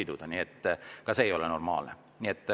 Aga ka see ei ole normaalne.